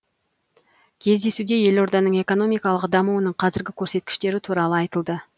кездесуде елорданың экономикалық дамуының қазіргі көрсеткіштері туралы айтылды